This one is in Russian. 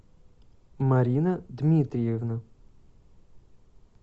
марина дмитриевна